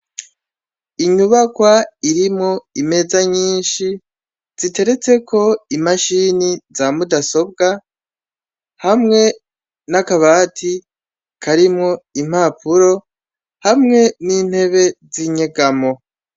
Inyubakwa irimwo imeza nyinshi ziteretseko imashini za mudasobwa hamwe n'akabati karimwo impapuro hamwe n'intebe z'inyugamo.